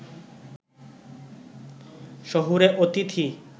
শহুরে অতিথি